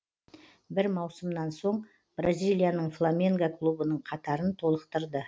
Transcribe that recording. бір маусымнан соң бразилияның фламенго клубының қатарын толықтырды